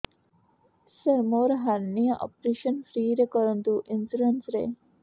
ସାର ମୋର hernia operation free ରେ କରନ୍ତୁ ଇନ୍ସୁରେନ୍ସ ରେ